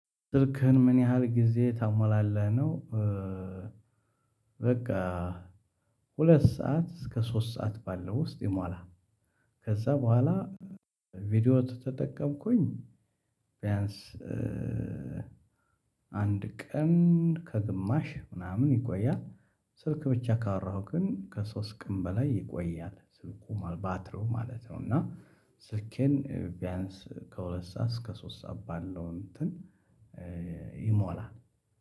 ስልክህን ምን ያህል ጊዜ ታሞላለህ ነው በቃ ሁለት ሰዓት እስከ ሶስት ሰዓት ባለው ውስጥ ይሞላል። ከዛ በኋላ ቪዲዮ ተተጠቀምኩኝ ቢያንስ አንድ ቀን ከግማሽ ምናምን ይቆያል። ስልክ ብቻ ካወራሁ ግን ከሶስት ቀን በላይ ይቆያል። ስልኩ ማል ባትሪው ማለት ነው እና ስልኬን ቢያንስ ከሁለት ሰዓት እስከ ሶስት ሰዓት ባለው እንትን ይሞላል።